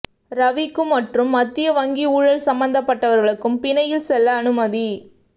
ரவிக்கும் மற்றும் மத்திய வங்கி ஊழல் சம்பந்தப்பட்டவர்களுக்கும் பிணையில் செல்ல அனுமதி